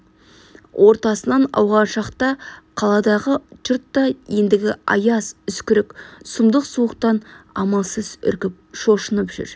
ортасынан ауған шақта қаладағы жұрт та ендігі аяз үскірік сұмдық суықтан амалсыз үркіп шошынып жүр